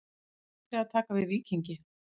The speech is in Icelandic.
Andri að taka við Víkingi